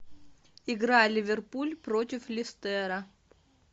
игра ливерпуль против лестера